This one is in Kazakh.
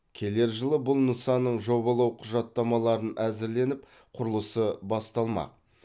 келер жылы бұл нысанның жобалау құжаттамаларын әзірленіп құрылысы басталмақ